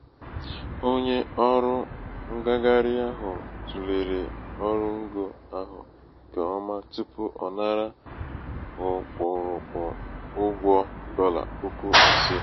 onye ọrụ ṅgagharị ahụ̀ tùlèrè ọrụngō ahụ̀ ṅ̀kè ọma tupu ọ̀ nara ọkpụ̀rụ̀kpụ̀ ụgwọ dọlà̀ puku ise.